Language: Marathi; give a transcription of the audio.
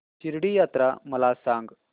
शिर्डी यात्रा मला सांग